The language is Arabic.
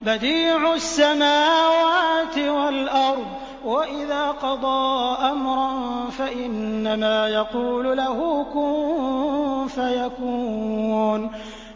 بَدِيعُ السَّمَاوَاتِ وَالْأَرْضِ ۖ وَإِذَا قَضَىٰ أَمْرًا فَإِنَّمَا يَقُولُ لَهُ كُن فَيَكُونُ